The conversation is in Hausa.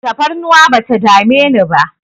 Tafarnuwa bata dame ni ba